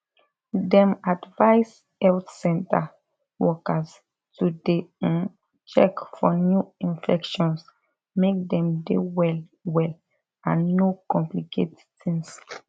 dem advise health center workers to dey um check for new infections make dem dey well well and no complicate tings